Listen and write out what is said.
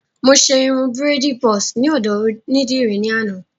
Mo ṣe irun bírèèdì bọ́ọ̀sì ní ọ̀dọ̀ onídìrí ní àná